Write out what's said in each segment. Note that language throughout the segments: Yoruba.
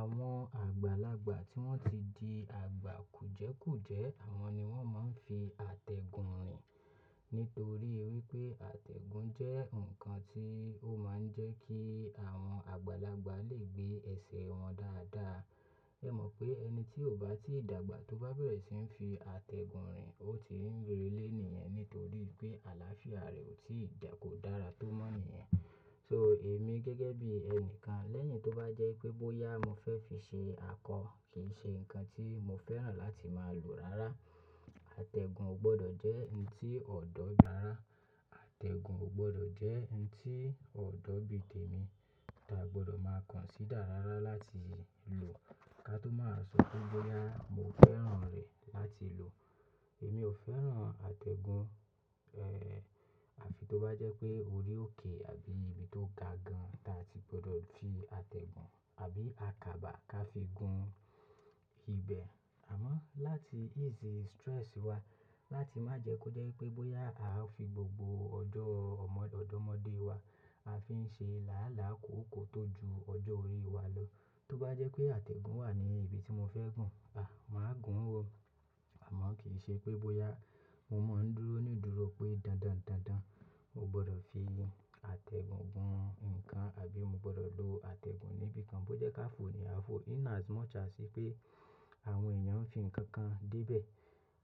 Àwọn àgbàlagbà tí wọ́n ti di àgbà kùjẹ́kùjẹ́, àwọn ni wọ́n máa ń fi àtẹ̀gùn rìn. Nítorí wípé àtẹ̀gùn jẹ́ ǹkan tí ó máa ń jẹ́ kí àwọn àgbàlagbà lè gbé ẹ̀sẹ̀ wọn dáadáa. Ẹ̀ mọ̀ pé ẹni tí ó bá ti dàgbà tó bá bẹ̀rẹ̀ sí ń fi àtẹ̀gùn rìn, ó ti ń relé nìyẹn nítorí pé àlàáfíà rẹ̀ ò tí ì dà kó dára tó mọ́ nìyẹn. So èmi gẹ́gẹ́ bí ẹnìkan, lẹ́yìn tó bá jẹ́ pé bóyá mo fẹ́ fi ṣe akọ, kì í ṣe ǹkan tí mo fẹ́ràn láti máa lò rárá. Àtẹ̀gùn ò gbọdọ̀ jẹ́ ǹ tí ọ̀dọ̀ yàrá, àtẹ̀gùn ò gbọdọ̀ jẹ́ ǹ tí ọ̀dọ̀ bìtẹ̀mi, ta gbọdọ̀ máa consider rárá láti lò ká tó máa sọ pé bóyá mo fẹ́ràn rẹ̀ láti lò. Èmi ò fẹ́ràn àtẹ̀gùn, àfi tó bá jẹ́ pé orí òkè àbí ibi tó ga gan ta ti gbọdọ̀ fi àtẹ̀gùn àbí àkàbà ká fi gun ibẹ̀. Àmọ́ láti ease stress wa, láti má jẹ kó jẹ́ pé bóyá a fi gbogbo ọjọ́ ọmọ-ọjọ́mọ́dé wa a fi ń ṣe làálàá kòkò tó ju ọjọ́ orí wa lọ. Tó bá jẹ́ pé àtẹ̀gùn wà ní ibi tí mo fẹ́ gùn, màá gùn ó. Àmọ́ kì í ṣe pé bóyá mo máa ń dúró nídùúró pé dandan dandan mo gbọdọ̀ fi àtẹ̀gùn gun ǹkan àbí mo gbọdọ̀ lo àtẹ̀gùn níbi kan bó jẹ́ ká fò ní a fò in as much as ipé àwọn èèyàn ń fi ǹkan kan débẹ̀.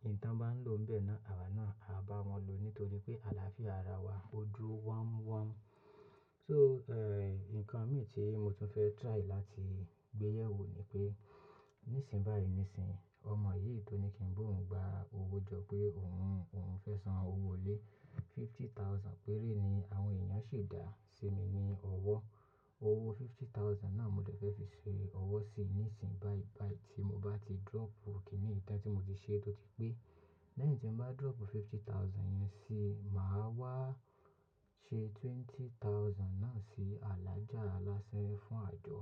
Ìǹtán bá ń lò ń bẹ́ẹ̀ náà, àwa náà a bá wọn lòó nítorí pé àlàáfíà ara wa ó dúró wam wam. So ǹkan mìíràn tí mo tún fẹ́ try láti gbé yẹ̀ wò ni pé, nísìnbáyìí nísìń, ọmọ yìí tó ní kí n bú òun gbá owó jọ pé òun, òun fẹ́ san owó lé fifty thousand, péré ni àwọn èèyàn sì dá sí mi ní ọwọ́. Owó fifty thousand náà mo dẹ̀ fẹ́ fi se owó sì ní ìsìn báibài tí mo bá ti drop òkìní ìtàn tí mo ti ṣe tó ti pé. Lẹ́yìn tí mo bá drop fifty thousand yẹn síi, màá wá ṣe twenty thousand náà sí alájà alásẹ́ fún àjọ.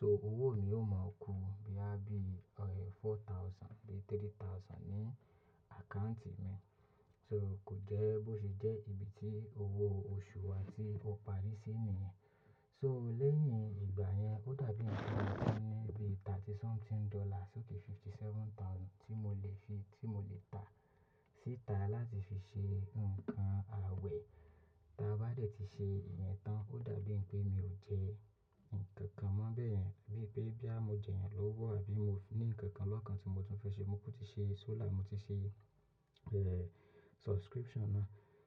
So owó mi yóò máa ku bíà bí four thousand bí three thousand ní account mi. So kò jẹ́ bó ṣe jẹ́ ibi tí owó oṣù wa tí ó parí sí nìyẹn. So lẹ́yìn ìgbà yẹn, ó dàbí ènìyàn tó ní bí thirty something dollar so ti fifty seven thousand tí mo lè fi, tí mo lè tà síta láti fi ṣe ǹkan àwẹ̀. Taa bá dẹ̀ ti ṣe ìyẹn tán, ó dàbí ẹ́n pé mi ò jẹ́ ǹkan kan mọ́ bẹ́ẹ̀ yẹn, bíi pé bí à mo jẹyàn lówó àbí mo ní ǹkan kan lọ́kan tí mo tún fẹ́ ṣe, mo ti ṣe solar, mo ti ṣe subscription náà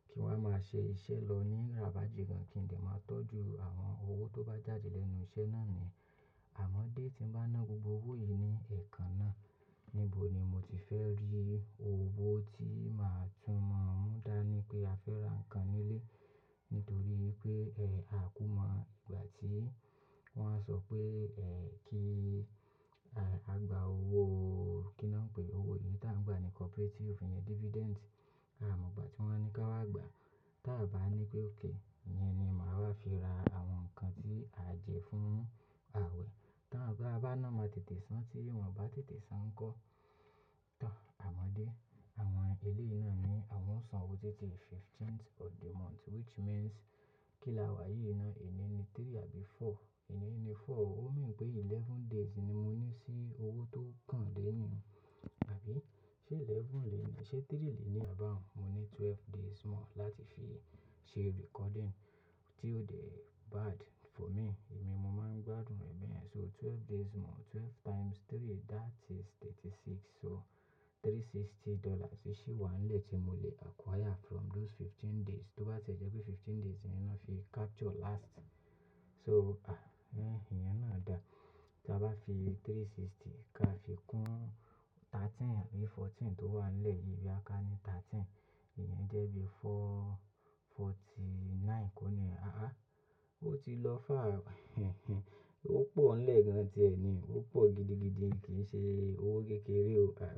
kí n wá máa ṣe iṣẹ́ lọ ní ràbà jigan kí n lè máa tọ́jú àwọn owó tó bá jáde lẹ́nu iṣẹ́ náà ni. Àmọ́dé tí n bá ná gbogbo owó yìí ní ẹ̀ẹ̀kan náà, níbo ni mo ti fẹ́ rí owó tí màá tún mọ mú dá ní pé a fẹ́ ra ǹkan nílé nítorí pé a kú mọ́ ìgbà tí wọ́n á sọ pé kí a gba owó kí ni wọ́n ń pè e, owó yìí tá ń gba ní cooperative, ìfìnyà dividend. Àmo ìgbà tí wọ́n ní ká wá gba, tí a bá ní pé okay, ìyẹn ni màá wá fi ra àwọn ǹkan tí à jẹ fún àwẹ̀. Ti a bá ná máa tètè san tí wọ́n bá tètè san ńkọ́. Tọ̀, àmọ́dé, àwọn ilé yìí náà ni wọ́n san owó tètè fifteenth of the month which means kí là wá yìí náà ení ni three àbí four, ení ni four, ó mean pé eleven days ni mo ní sí owó tó kàn lẹ́yìn. Àbí ṣe eleven lè ní, ṣe three lè ní à bá òun, mo ní twelve days mọ́ láti fi ṣe recording tí ó dẹ bad for me. Èmi mo máa ń gbádùn rẹ̀ bẹ́ẹ̀ yẹn so twelve days mọ́, twelve times three that is thirty six so three sixty dollars ni ṣí wá ńlẹ̀ tí mo lè acquire from those fifteen days. Tó bá tẹ̀ ẹ́ jẹ́ pé fifteen days yẹn náà fi capture last, so ah ẹ́n ìyẹn náà dà. Taa bá fi three sixty ká fi kún thirteen àbí fourteen tó wà ńlẹ̀ yìí bí a ká ní thirteen, ìyẹn jẹ́ bí four forty nine kó nìyẹn ó ti lọ far, ó pọ̀ ńlẹ̀ gan ti ẹ́ ni, ó pọ̀ gidigidi, kì í ṣe owó kékeré o. Ah.